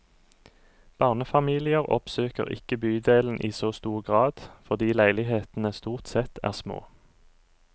Barnefamilier oppsøker ikke bydelen i så stor grad, fordi leilighetene stort sett er små.